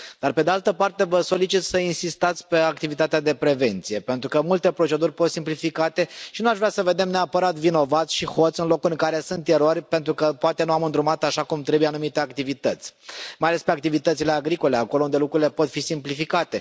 Pe de altă parte, vă solicit să insistați pe activitatea de prevenție, pentru că multe proceduri pot fi simplificate și nu aș vrea să vedem neapărat vinovați și hoți în locuri în care sunt erori pentru că poate nu am îndrumat așa cum trebuie anumite activități, mai ales pe activitățile agricole, acolo unde lucrurile pot fi simplificate.